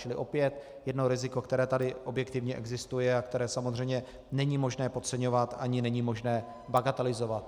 Čili opět jedno riziko, které tady objektivně existuje a které samozřejmě není možné podceňovat ani není možné bagatelizovat.